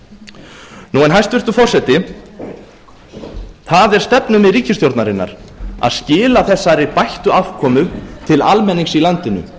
dag hæstvirtur forseti það er stefnumið ríkisstjórnarinnar að skila þessari bættu afkomu til almennings í landinu